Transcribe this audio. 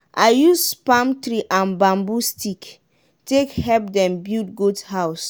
i use palm tree and bambu stick take help dem build goat house.